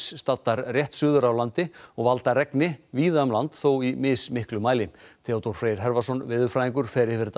staddar rétt suður af landi og valda regni víða um land þó í mismiklu mæli Theodór Freyr veðurfræðingur fer yfir þetta